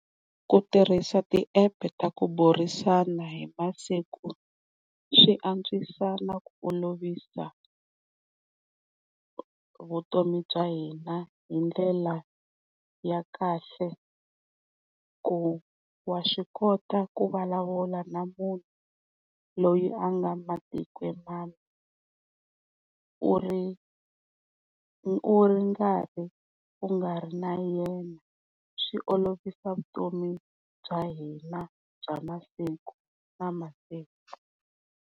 Ku tirhisa ti-app ta ku burisana hi masiku swi antswisa na ku olovisa vutomi bya hina hindlela ya kahle ku wa swi kota ku vulavula na munhu loyi a nga matikweni u ri u ri karhi u nga ri na yena swi olovisa vutomi bya hina bya masiku na masiku.